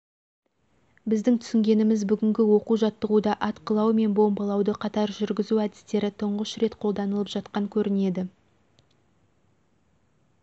біздің түсінгеніміз бүгінгі оқу-жаттығуда атқылау мен бомбалауды қатар жүргізу әдістері тұңғыш рет қолданылып жатқан көрінеді